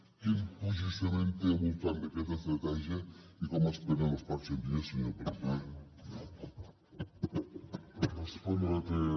quin posicionament té al voltant d’aquesta estratègia i com esperen els pròxims dies senyor president